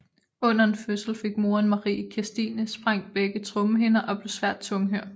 Under en fødsel fik moren Marie Kirstine sprængt begge trommehinder og blev svært tunghør